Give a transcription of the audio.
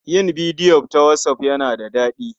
Yin bidiyo ta whatsApp yana da daɗi.